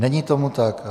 Není tomu tak.